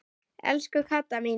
Elsku Kata mín.